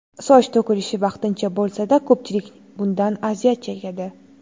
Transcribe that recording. Soch to‘kilishi vaqtincha bo‘lsa-da, ko‘pchilik bundan aziyat chekadi.